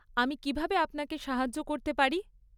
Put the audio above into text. আমি কীভাবে আপনাকে সাহায্য করতে পারি?